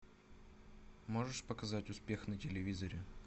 можешь показать успех на телевизоре